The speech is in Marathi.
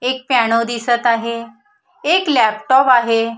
एक पियानो दिसत आहे एक लॅपटॉप दिसत आहे.